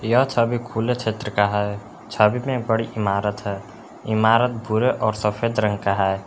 यह छवि खुले क्षेत्र का है छवि में एक बड़ी इमारत है इमारत भूरे और सफेद रंग का है।